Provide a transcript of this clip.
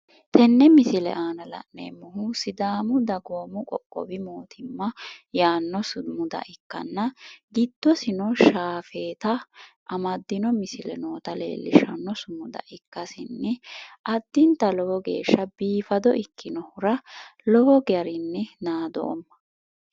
tenne misile aana la'neemmohu sidaamu dagoomi qoqowi mootimma yaannoha ikkanna giddosino shaafeeta amaddino misile noota leellishanno misile ikkasinni addinta lowo geeshsha biifado ikkinohura lowo garinni naadoomma.